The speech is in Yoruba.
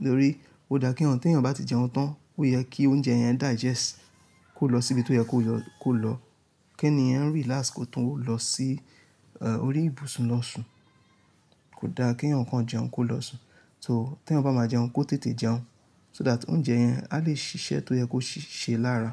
Nítorí o da kí eyan, tí ẹyan bá ti jẹun tán, ó yẹ kí oúnjẹ yẹn digest kó lọ síbi tó yẹ kó lọ, kí ènìyàn relax kó tún ún lọ sí, ẹ, orí ìbùsùn lọ́ṣù. Kò da kí eyan ko jẹun kó lọ́ṣun. So tí ẹ bá máa jẹun kó tètè jẹun so that oúnjẹ yẹn a lè ṣiṣẹ́ tó yẹ kó ṣe lára.